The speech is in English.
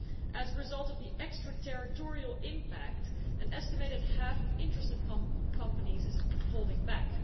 As a result of the extraterritorial impact, an estimated half of interested companies are holding back.